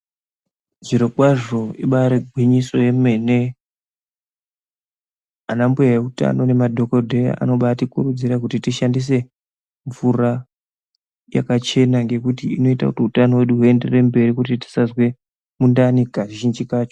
Zviro kwazvo ibairi gwinyiso yemene ana mbuya eutano ne madhokodheya anobai tikurudzira kuti tishandise mvura yakachena ngekuti inoita kuti hutano hwedu hu enderere mberi kuti tisazwe mundani kazhinji kacho.